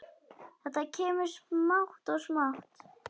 Þetta kemur smátt og smátt.